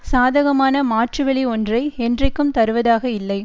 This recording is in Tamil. சாதகமான மாற்றுவழி ஒன்றை என்றைக்கும் தருவதாக இல்லை